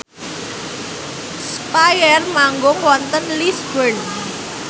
spyair manggung wonten Lisburn